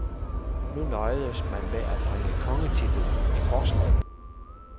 Nu nøjedes man med at bringe kongetitlen i forslag.